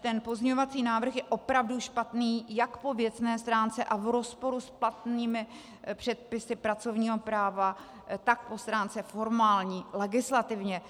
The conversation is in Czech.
ten pozměňovací návrh je opravdu špatný jak po věcné stránce a v rozporu s platnými předpisy pracovního práva, tak po stránce formální, legislativně.